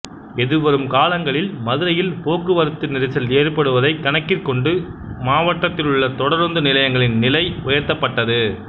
எதிர்வரும் காலங்களில் மதுரையில் போக்குவரத்து நெரிசல் ஏற்படுவதை கணக்கிற்கொண்டு மாவட்டத்திலுள்ள தொடருந்து நிலையங்களின் நிலை உயர்த்தப்பட்டது